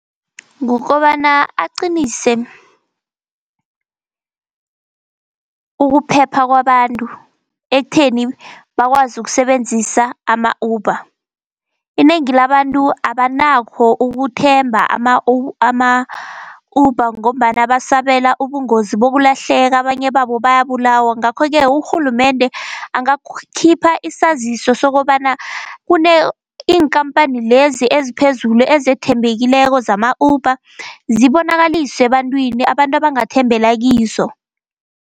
Kukobana aqinise ukuphepha kwabantu, ekutheni bakwazi ukusebenzisa ama-Uber. Inengi labantu abanakho ukuthemba ama-Uber ngombana basabela ubungozi bokulahleka, abanye babo bayabulawa. Ngakho-ke urhulumende angakhipha isaziso sokobana, iinkampani lezi eziphezulu ezethembekileko zama-Uber, zibonakaliswe ebantwini abantu abangathembela kizo.